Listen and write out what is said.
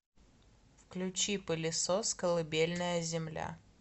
включи пылесос колыбельная земля